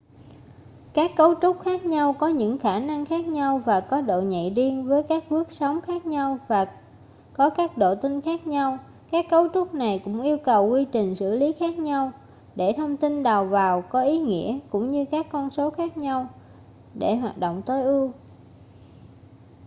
các cấu trúc khác nhau có những khả năng khác nhau và có độ nhạy riêng với các bước sóng khác nhau và có các độ tinh khác nhau các cấu trúc này cũng yêu cầu quy trình xử lý khác nhau để thông tin đầu vào có ý nghĩa cũng như các con số khác nhau để hoạt động tối ưu